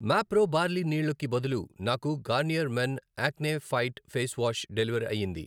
Mapro barley నీళ్ళు కి బదులు నాకు Garnier men acno fight face wash deliver అయ్యింది.